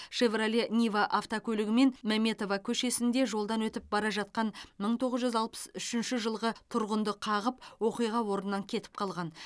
шевроле нива автокөлігімен мәметова көшесінде жолдан өтіп бара жатқан мың тоғыз жүз алпыс үшінші жылғы тұрғынды қағып оқиға орнынан кетіп қалған